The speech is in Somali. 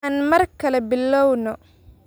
Aan mar kale bilowno.